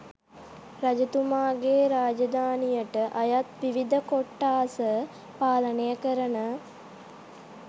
රජතුමාගේ රාජධානියට අයත් විවිධ කොට්ඨාස පාලනය කරන